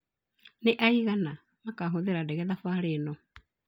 Nĩ aigana makahũthĩra ndege thabarĩ inĩ yao?